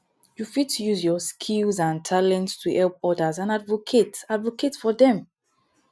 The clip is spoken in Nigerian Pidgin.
you fit use your skills and talents to help odas and advocate advocate for dem